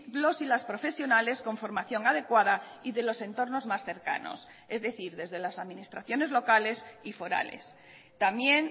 los y las profesionales con formación adecuada y de los entornos más cercanos es decir desde las administraciones locales y forales también